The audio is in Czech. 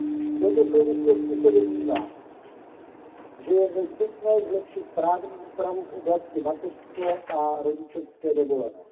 V této souvislosti se domnívám, že je nezbytné zlepšit právní úpravu v oblasti mateřské a rodičovské dovolené.